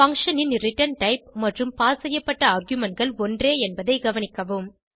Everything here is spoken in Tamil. பங்ஷன் ன் ரிட்டர்ன் டைப் மற்றும் பாஸ் செய்யப்பட்ட argumentகள் ஒன்றே என்பதை கவனிக்கவும்